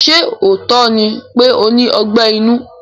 Ṣé lóòótọ́ ni pé ó ní Ọgbẹ́ inú?